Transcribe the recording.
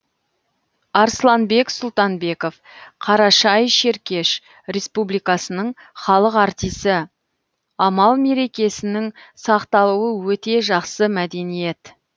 арсланбек сұлтанбеков қарашай шеркеш республикасының халық артисі амал мерекесінің сақталуы өте жақсы мәдениет